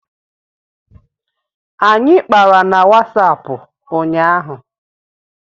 Anyị kpara na Wasapụ ụnyaahụ